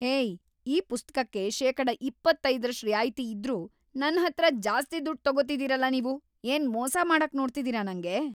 ಹೇಯ್! ಈ ಪುಸ್ತಕಕ್ಕೆ ಶೇಕಡ ಇಪ್ಪತ್ತೈದ್ರಷ್ಟ್ ರಿಯಾಯ್ತಿ ಇದ್ರೂ ನನ್ಹತ್ರ ಜಾಸ್ತಿ ದುಡ್ಡ್ ತೊಗೋತಿದೀರಲ ನೀವು. ಏನ್‌ ಮೋಸ ಮಾಡಕ್‌ ನೋಡ್ತಿದೀರ ನಂಗೆ?